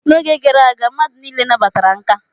N'oge gara aga, mmadụ niile nabatara nka